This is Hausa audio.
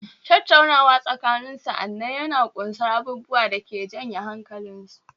Tattaunawa tsakanin sa'anni yana ƙunsar abubuwa da ke janye da hankalinsu